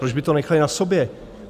Proč by to nechali na sobě?